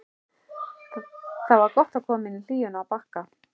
Það var gott að koma inn í hlýjuna á Bakka.